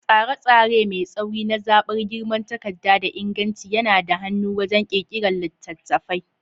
Tsare-tsare mai tsauri na zaɓar girman takarda da inganci yana da hannu wajen ƙirƙirar littattafai.